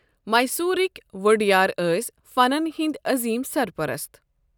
میسورٕک ووڈیار ٲسۍ فنن ہنٛدۍ عظیٖم سرپرست۔